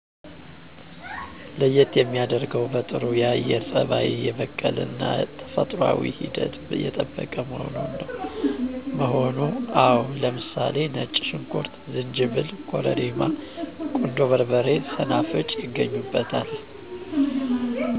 ለየት የሚያደርገው በጥሩ የአየር ፀባይ የበቀለ እና ተፈጥሯዊ ሂደት የጠበቀ መሆኑ። አዎ ለምሳሌ ነጭ ሽንኩርት፣ ዝንጅብል፣ ኮረሪማ፣ ቁንዶ በርበሬ፣ ሰናፍጭ ይገኙበታል።